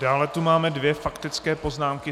Dále tu máme dvě faktické poznámky.